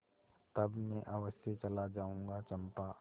तब मैं अवश्य चला जाऊँगा चंपा